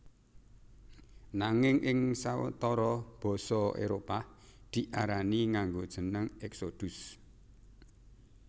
Nanging ing sawetara basa Éropah diarani nganggo jeneng Exodus